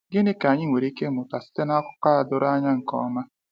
Gịnị ka anyị nwere ike ịmụta site na akụkọ a doro anya nke ọma?